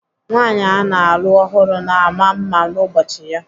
Nwaanyị ana alụ ọhụrụ na ama mma n'ụbọchị ya.